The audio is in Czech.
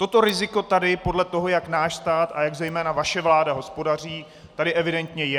Toto riziko tady podle toho, jak náš stát a jak zejména vaše vláda hospodaří, tady evidentně je.